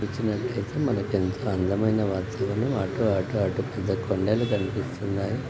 వచ్చినట్టయితే మనకు ఎంతో అందమైన వాతావరణము అటు- అటు-అటు పెద్ద కొండలు కనిపిస్తున్నాయి.